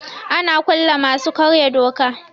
Ana kulle masu karya doka.